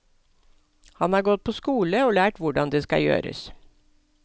Han har gått på skole og lært hvordan det skal gjøres.